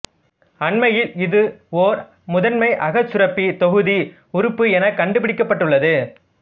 அண்மையில் இது ஓர் முதன்மை அகச்சுரப்பித் தொகுதி உறுப்பு எனக் கண்டுபிடிக்கப்பட்டுள்ளது